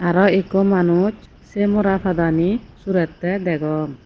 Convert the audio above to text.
aro ekko manuch se mora padani surette degong.